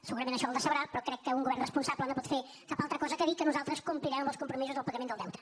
segurament això el decebrà però crec que un govern responsable no pot fer cap altra cosa que dir que nosaltres complirem amb els compromisos del pagament del deute